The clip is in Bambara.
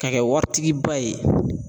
Ka kɛ waritigiba ye